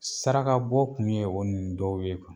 Saraka bɔ kun ye o nin dɔw ye.